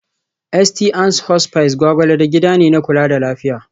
St. Ann's Hospice Gwgwalada gida ne na kula da lafiya